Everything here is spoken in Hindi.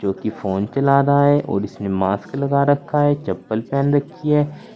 जोकि फोन चला रहा है और इसमें मास्क लगा रखा है चप्पल पहन रखी है।